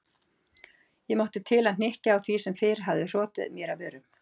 Ég mátti til að hnykkja á því sem fyrr hafði hrotið mér af vörum